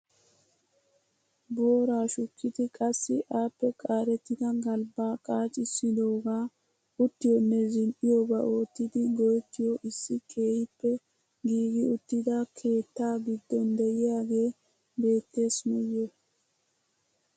Booraa shukkidi qassi appe qaarettida galbbaa qacisidoogaa uttiyonne zin"iyooba oottidi go"ettiyoo issi keehippe giigi uttida keettaa giddon de'iyaagee beettees nuyoo.